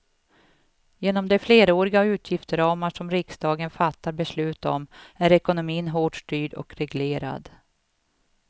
Genom de fleråriga utgiftsramar som riksdagen fattar beslut om är ekonomin hårt styrd och reglerad.